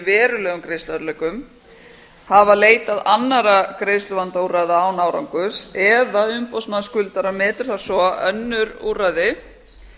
verulegum greiðsluerfiðleikum hafa leitað annarra greiðsluvandaúrræða án árangurs eða umboðsmaður skuldara meti það svo að önnur úrræði